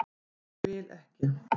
Ég vil ekki.